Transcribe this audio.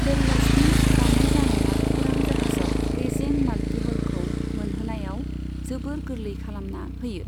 बेल्लास्टनि बाङाय जानाया उरां जाहाजाव रेजें माल्टिह'लखौ मोनहोनायाव जोबोर गोरलै खालामना होयो।